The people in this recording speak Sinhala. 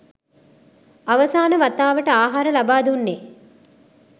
අවසාන වතාවට ආහාර ලබා දුන්නේ